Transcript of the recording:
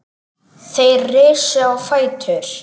Þeir risu á fætur.